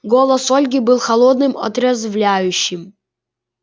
голос ольги был холодным отрезвляющим